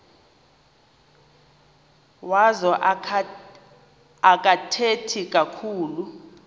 wazo akathethi kakhulu